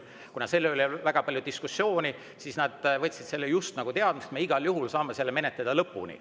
Kuna selle üle oli väga diskussioon, siis nad just nagu võtsid teadmiseks, et me igal juhul saame selle menetleda lõpuni.